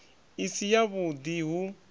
i si yavhud i hu